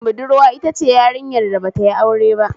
Budurwa itace yarinyar da batayi aure ba